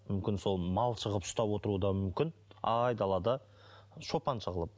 мүмкін сол малшы қылып ұстап отыруы да мүмкін айдалада шопаншы қылып